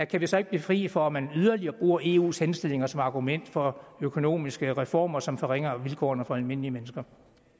kan vi så ikke blive fri for at man yderligere bruger eus henstillinger som argument for økonomiske reformer som forringer vilkårene for almindelige mennesker